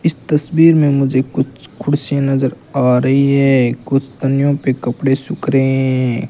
इस तस्वीर में मुझे कुछ कुर्सियां नजर आ रही है कुछ तन्याें पे कपड़े सूख रहे हैं।